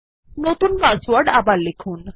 নতুন পাসওয়ার্ড আবার লিখুন